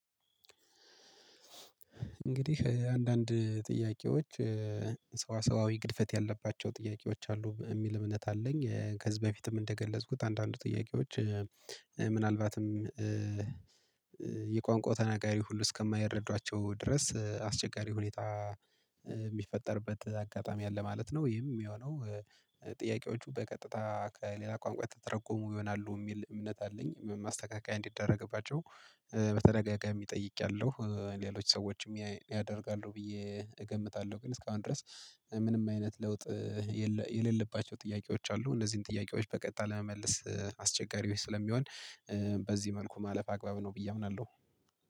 እንግዲህ አንዳንድ ጥያቄዎች ሰዋሰዋዊ ግድፈት ያለባቸው ጥያቄዎች አሉ የሚል እምነት አለኝ። ከዚህ በፊትም እንደገለጽኩት አንዳንዱ ጥያቄዎች ምናልባትም የቋንቋ ተነጋሪ ሁሉ እስከማይረዷቸው ድረስ አስቸጋሪ ሁኔታ የሚፈጠርበት አጋጣሚ አለ ማለት ነው። ይህም የሆነው ጥያቄዎቹ በቀጥታ ከሌላ ቋንቋ የተተረጎሙ ይሆናሉ የሚል እምነት አለኝ። ማስተካከያ እንዲደረግባቸው በተደጋጋሚ ጠይቄያለሁ ሌሎች ሰዎችም ያደርጋሉ ብዬ እገምታለሁ። ግን እስካሁን ድረስ ምንም አይነት ለውጥ የሌለባቸው ጥያቄዎች አሉ። እነዚህን ጥያቄዎች በቀጣይ ለመመለስ አስቸጋሪዎች ስለሚሆን በዚህ መልኩ ማለፍ አግባብ ነው። ብዬ አምናለሁ።